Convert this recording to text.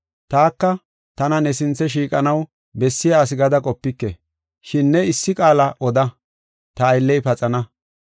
Taka tana ne sinthe shiiqanaw bessiya asi gada qopike. Shin ne issi qaala oda; ta aylley paxana.